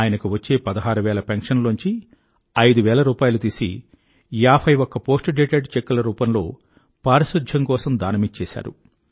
ఆయనకు వచ్చే పదహారు వేల పెన్షన్ లోంచి ఐదు వేల రూపాయిలు తీసి 51 పోస్ట్ డేటెడ్ చెక్ ల రూపంలో పారిశుధ్యం కోసం దానమిచ్చేసారు